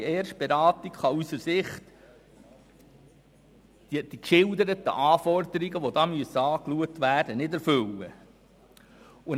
Eine kostenlose Erstberatung kann aus unserer Sicht die geschilderten Anforderungen, die hier angeschaut werden müssen, nicht erfüllen.